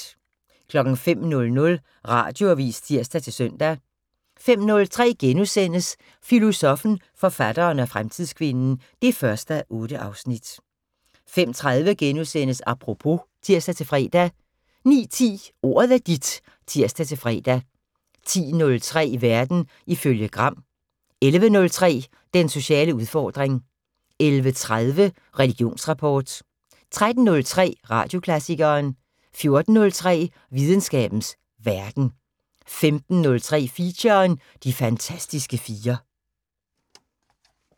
05:00: Radioavis (tir-søn) 05:03: Filosoffen, forfatteren og fremtidskvinden 1:8 * 05:30: Apropos *(tir-fre) 09:10: Ordet er dit (tir-fre) 10:03: Verden ifølge Gram 11:03: Den sociale udfordring 11:30: Religionsrapport 13:03: Radioklassikeren 14:03: Videnskabens Verden 15:03: Feature: De fantastiske fire